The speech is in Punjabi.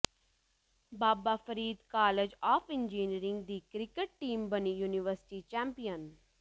Baba Farid college of engineering ਦੀ ਕ੍ਰਿਕਟ ਟੀਮ ਬਣੀ ਯੂਨੀਵਰਸਿਟੀ ਚੈਂਪੀਅਨ